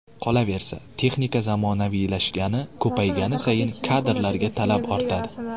Qolaversa, texnika zamonaviylashgani, ko‘paygani sayin kadrlarga talab ortadi.